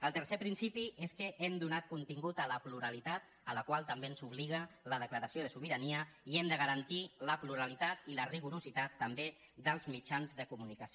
el tercer principi és que hem donat contingut a la plu·ralitat a la qual també ens obliga la declaració de so·birania i hem de garantir la pluralitat i la rigorositat també dels mitjans de comunicació